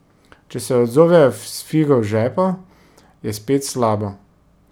Če se odzovejo s figo v žepu, je spet slabo.